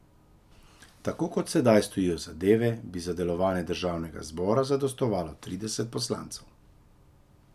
Tako kot sedaj stojijo zadeve, bi za delovanje državnega zbora zadostovalo trideset poslancev.